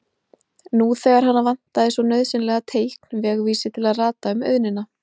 Bauð hann henni til stofu og áttu þau tvö tal saman lengi dags.